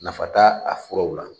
Nafa t'a a furaw la